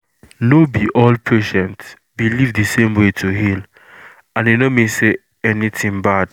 no be all patient believe the same way to heal and e no mean say anything bad.